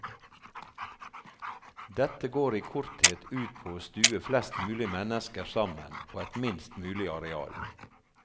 Dette går i korthet ut på å stue flest mulig mennesker sammen på et minst mulig areal.